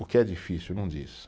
O que é difícil, não diz.